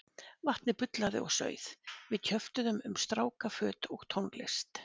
Vatnið bullaði og sauð, við kjöftuðum um stráka, föt og tónlist.